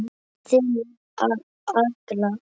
Þín Agla.